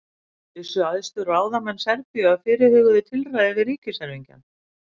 vissu æðstu ráðamenn serbíu af fyrirhuguðu tilræði við ríkiserfingjann